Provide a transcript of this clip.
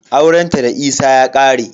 Aurena da Isa ya ƙare.